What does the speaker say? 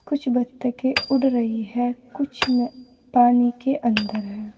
कुछ बत्तखें उड़ रही है कुछ पानी के अंदर हैं।